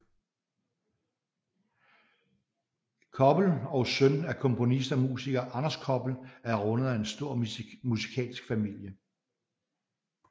Koppel og søn af komponist og musiker Anders Koppel er rundet af en stor musikalsk familie